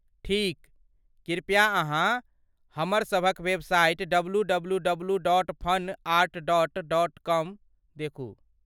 ठीक ! कृपया अहाँ हमर सभक वेबसाइट डब्लूडब्लूडब्लू.फनआर्ट.कॉम देखू।